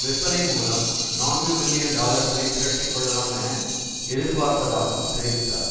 விற்பனை மூலம் நான்கு பில்லியன் டாலர்களை திரட்டி கொள்ளலாம் என எதிர்ப்பார்ப்பதாகவும் தெரிவித்தார்